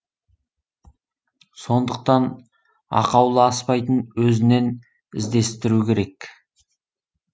сондықтан ақаулы аспайтын өзінен іздестіру керек